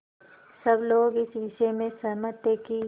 सब लोग इस विषय में सहमत थे कि